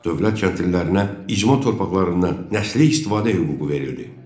Dövlət kəndlilərinə icma torpaqlarından nəslik istifadə hüququ verildi.